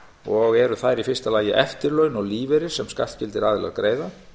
og eru þær í fyrsta lagi eftirlaun og lífeyrir sem skattskyldir aðilar greiða